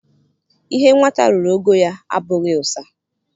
Ihe nwata ruru ogo ya abụghị ụsa